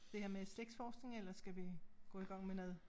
Det her med slægtsforskning eller skal vi gå i gang med noget